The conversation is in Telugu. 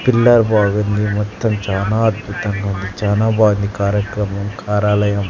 పిల్లర్ బాగుంది మొత్తం చానా అద్భుతంగా ఉంది చానా బాంది కార్యక్రమం కార్యాలయం.